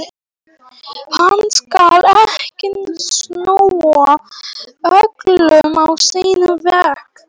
Hann skal ekki snúa öllu á sinn veg núna.